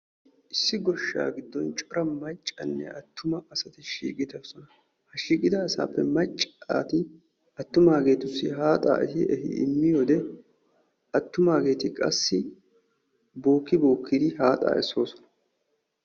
Issi goshshaa giddon cora maccanne attuma asati shiiqidosona. Ha shiiqisa asatuppe macca asati attumaageetussi haaxaa immiyode attumaageetu qassi bookki bookkidi haaxaa essoosona.